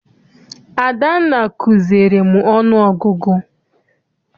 Adanna kuziere m ọnụ ọgụgụ.